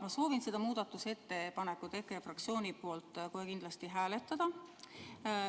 Ma soovin seda muudatusettepanekut EKRE fraktsiooni nimel kohe kindlasti hääletada.